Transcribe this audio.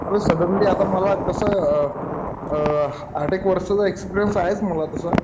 अरे सडनली मला आता कसं अ आठ एक वर्षाचा एक्सपीरियन्स आहेच मला तसा.